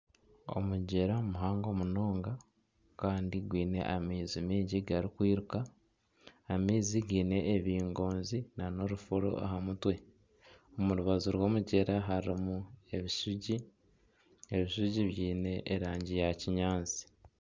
Omugyera muhango munonga kandi gwine amaizi mingi garikwiruka, amaizi giine ebingonzi nana ebifuro aha mutwe, omu rubaju rw'omugyera harimu ebishugi biine erangi eya kinyaatsi